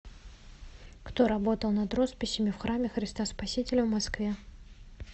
кто работал над росписями в храме христа спасителя в москве